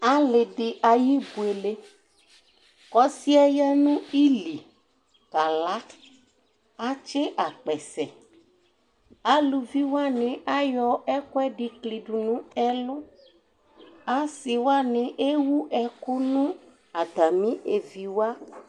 ali di ayi ibuele ko ɔsiɛ ya no ili kala atsi akpɛsɛ aluvi wani ayɔ ɛkuɛdi klido no ɛlu ase wani ewu ɛko no atami evi wa